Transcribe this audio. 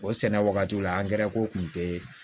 O sɛnɛ wagati la ko kun te